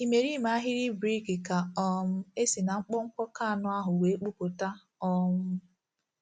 Imerime ahịrị brik ka um e si na mkpọmkpọ keanọ ahụ wee kpụpụta. um